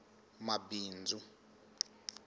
mabindzu